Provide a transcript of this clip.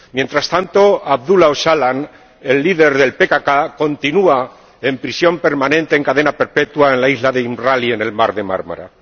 Mientras tanto, Abdulá Ocalan, el líder del PKK, continúa en prisión permanente, en cadena perpetua, en la isla de Imrali, en el mar de Mármara.